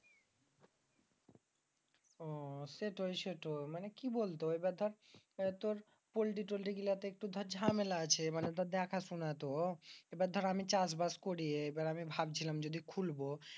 আহ সেটই সেটই মানি কি বলত এবার দর পল্টি টল্টি গুলাতে এবার দর জামেলা আছে। মানি দর দেখা শোনা তো এবার দর আমি চাষবাস করচ্ছি এবার দর আমি ভাবছিলাম যদি খুলব।